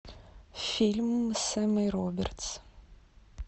фильм с эммой робертс